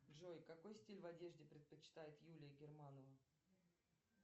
джой какой стиль в одежде предпочитает юлия германова